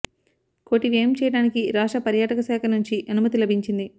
కోటి వ్యయం చేయడానికి రాష్ట్ర పర్యాటక శాఖ నుంచి అనుమతి లభించింది